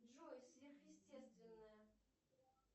джой сверхъестественное